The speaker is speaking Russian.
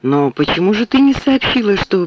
ну почему же ты не сообщила что